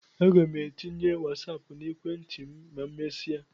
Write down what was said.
A ga m etinye Wasáápu na ekwentị m ma emesia